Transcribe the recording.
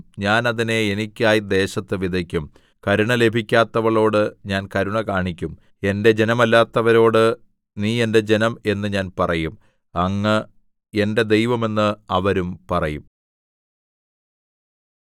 ഞാൻ അതിനെ എനിക്കായി ദേശത്ത് വിതയ്ക്കും കരുണ ലഭിക്കാത്തവളോട് ഞാൻ കരുണ കാണിക്കും എന്റെ ജനമല്ലാത്തവരോട് നീ എന്റെ ജനം എന്ന് ഞാൻ പറയും അങ്ങ് എന്റെ ദൈവം എന്ന് അവരും പറയും